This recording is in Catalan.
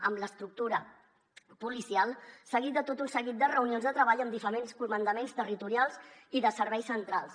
amb l’estructura policial seguit de tot un seguit de reunions de treball amb diferents comandaments territorials i de serveis centrals